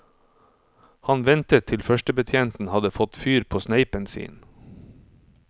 Han ventet til førstebetjenten hadde fått fyr på sneipen sin.